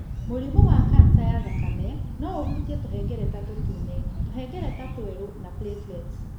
Mũrimũ wa kanca ya thakame no ũhutie tũhengereta tũtune, tũhengereta twerũ na platelets.